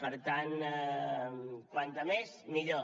per tant com més millor